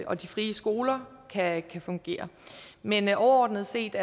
og de frie skoler kan fungere men overordnet set